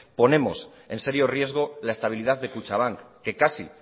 ponemos en serio riesgo la estabilidad de kutxabank que casi